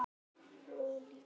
Hló líka.